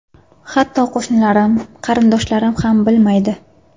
Hatto qo‘shnilarim, qarindoshlarim ham bilmaydi.